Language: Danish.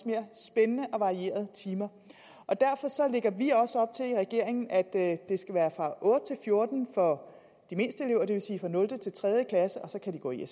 mere spændende og varierede timer og derfor lægger vi også op til i regeringen at det skal være fra otte til fjorten for de mindste elever det vil sige fra nul til tredje klasse og så kan de gå i